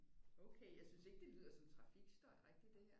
Okay jeg synes ikke det lyder som trafikstøj rigtigt det her